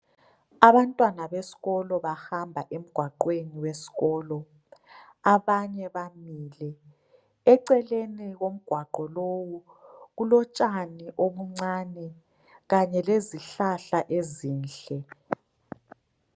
Abantwana besikolo bahamba emgwaqweni wesikolo, abanye bamile, eceleni komgwaqo lowu kulotshani obuncane kanye lezihlahla ezinhle.